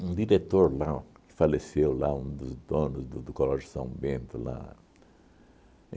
um diretor lá, que faleceu lá, um dos donos do do Colégio São Bento lá